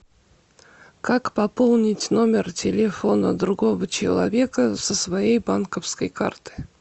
как пополнить номер телефона другого человека со своей банковской карты